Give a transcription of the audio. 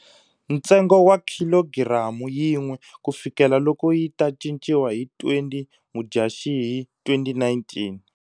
Ntsengo wa khilogiramu yin'we kufikela loko yi ta cinciwa hi 20 mudyaxihi 2019.